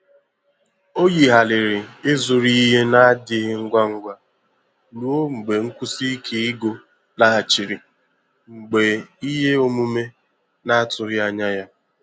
Ọ yigharịrị ịzụrụ ihe na-adịghị ngwa ngwa ruo mgbe nkwụsi ike ego laghachiri mgbe ihe omume na-atụghị anya ya.